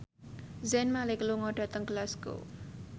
Zayn Malik lunga dhateng Glasgow